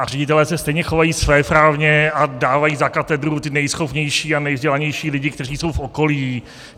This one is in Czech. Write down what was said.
A ředitelé se stejně chovají svéprávně a dávají za katedru ty nejschopnější a nejvzdělanější lidi, kteří jsou v okolí.